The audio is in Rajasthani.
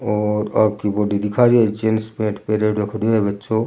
और आगि बॉडी दिखा रिया जींस पेन्ट पेहरेडो खड़ा है बच्चो।